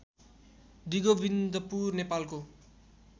डिगोविन्दपुर नेपालको